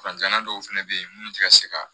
Fanjanna dɔw fɛnɛ bɛ ye minnu tɛ ka se ka